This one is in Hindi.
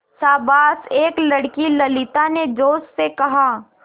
शाबाश एक लड़की ललिता ने जोश से कहा